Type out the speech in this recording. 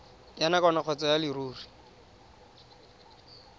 ya nakwana kgotsa ya leruri